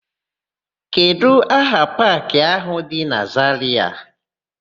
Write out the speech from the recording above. Kedụ aha paakị áhụ̀ dị na Zarịa?